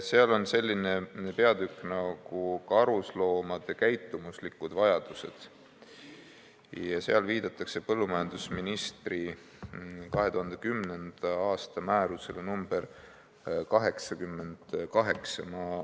–, seal on selline pealkiri nagu "Karusloomade käitumuslikud vajadused" ja seal viidatakse põllumajandusministri 2010. aasta määrusele nr 88.